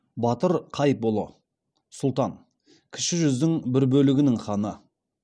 батыр қайыпұлы сұлтан кіші жүздің бір бөлігінің ханы